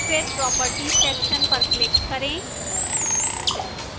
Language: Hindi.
फिर properties section पर click करें